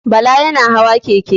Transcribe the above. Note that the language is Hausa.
Bala yana hawa keke.